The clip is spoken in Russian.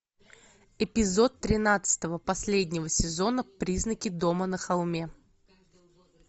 эпизод тринадцатого последнего сезона призраки дома на холме